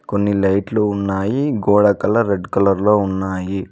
కొన్ని లైట్లు ఉన్నాయి గోడ కలర్ రెడ్ కలర్లో ఉన్నాయి.